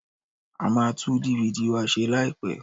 A máa tú DVD wa se láìpẹ́.